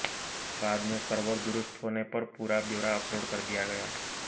बाद में सर्वर दुरुस्त होने पर पूरा ब्योरा अपलोड कर दिया गया